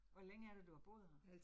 Hvor længe er det, du har boet her?